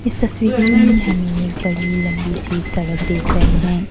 इस तस्वीर में ये हमे ये एक बडी लंबी से सड़क देख रहे हैं।